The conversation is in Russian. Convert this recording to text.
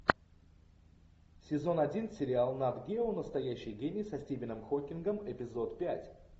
сезон один сериал нат гео настоящий гений со стивеном хокингом эпизод пять